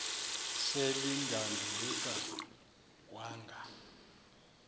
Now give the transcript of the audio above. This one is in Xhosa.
sel edanduluka wanga